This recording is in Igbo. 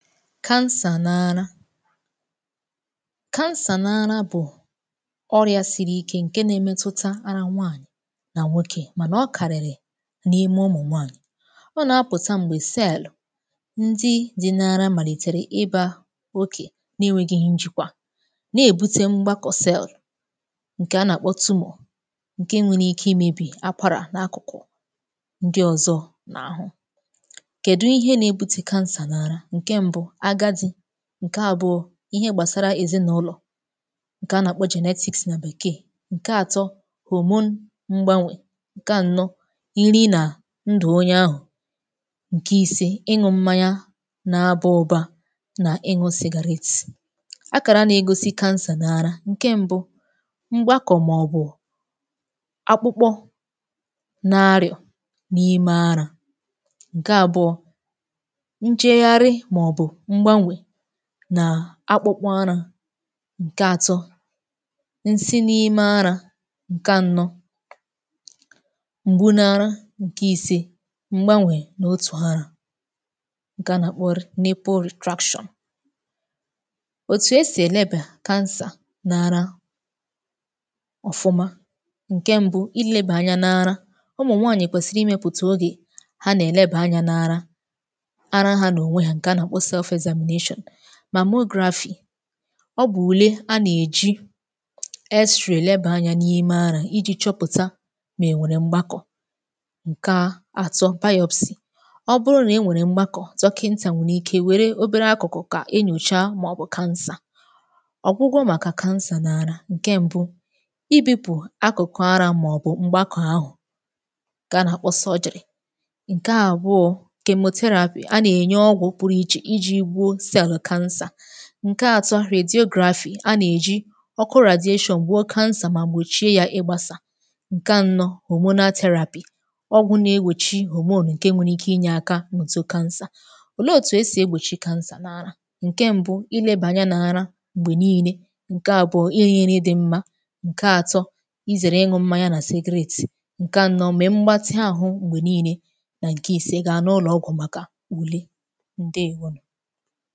cancer n’ara cancer n’ara bụ̀ ọrịà siri ikē ǹke nà-èmetuta ara nwaanyị̀ nà nwokē mànà ọ kàrị̀rị̀ n’ime umù nwaanyị̀ ọ nà-apụ̀ta m̀gbè cell ndị di n’ara màlìtèrè ịbā oké na-enwēghi njikwa na-èbute mgbàkọ̀ cell ǹkè a nà-àkpọ tumour ǹke nwere ike imēbì akwarà na akụ̀kụ̀ ndị ọ̀zọ n’àhụ kèdu ihe nà-ebute cancer n’ara? ǹke mbū agadị̄ ǹke àbuo ihe gbàsàrà èzinaụlọ̀ ǹkè a nà-àkpo genetics nà bekee ǹke atọ hormone mgbanwè ǹke ànọ iri nà ndù onye ahụ̀ ǹke ise na-aba ụba nà ịṅụ cigarette akàra nà-egosi cancer n’ara ǹke mbū mgbakọ̀ màọbụ̀ akpụkpọ na-arịà n’ime arā ǹke àbụọ njegharị̀ màọbụ̀ mgbanwè n’akpụkpọ arā ǹke atọ nsī n’ime arā ǹke ànọ m̀gbu n’ara. ǹke ise mgbanwè n’otù arā ǹkè a nà-àkpọ nipple retraction òtù esì èlebà cancer narā ọ̀fụma ǹke mbu ilēbà anya n’ara umù nwaanyị̀ kwèsìrì imēpụ̀tà ogè ha nà-èlebà anyā n’ara ara ha n’ònwe ha ǹkè a nà-àkpọ self examination mammography ọ bụ̀ ùle a nà-èji x-ray lebà anyā n’ime arā iji chọpụ̀ta mà ènwèrè mgbakọ̀ ǹke atọ biopsy ọ bụrụ nà inwèrè mgbakọ̀ dokịnta nwerè ike nwère obere akụ̀kụ̀ kà enyòcha màọbụ̀ cancer ọ̀gwụgwọ màkà cancer n’ara ǹke mbū ibipù akụ̀kụ̀ arā màọbụ̀ mgbakọ̀ ahụ̀ ǹkè a nà-àkpọ surgery ǹke àbụọ chemotherapy a nà-ènye ọgwụ̀ pụrụ ichè ijī gbuo cell cancer ǹke atọ radiography a nà-èji ọkụ radiation gbụọ cancer mà gbòchie ya ịgbāsà ǹke ànọ hormonal therapy ọgwụ̄ na-ègbochi hormone ǹke nwere ike inye aka n’òtù cancer òlee òtù esì egbòchi n’ara ǹke mbū ilēbà anya n’ara m̀gbè niilē ǹke àbụọ irī nri di mmā ǹke atọ izère ịṅụ̄ mmanya nà secret ǹke ànọ mee mbatị àhụ m̀gbè niilē nà ǹke ise, gaa n’ụlọ̀ ọgwụ̀ màkà ùle ǹdeewo